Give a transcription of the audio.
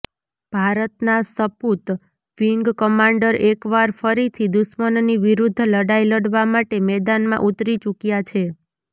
ભારતના સપુત wing commander એકવાર ફરીથી દુશ્મનની વિરુદ્ધ લડાઇ લડવા માટે મેદાનમાં ઉતરી ચુક્યા છે